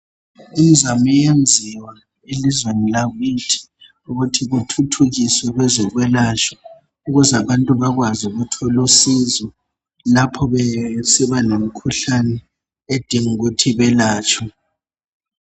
Imzamo iyenziwa elizweni lakithi ukuthi kuthuthukiswe kwezokwelatshwa, ukuze abantu bakwazi ukuthola usizo lapha besiba lemikhuhlane edinga ukuthi bayelatshwe.